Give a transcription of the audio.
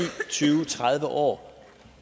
tyve tredive år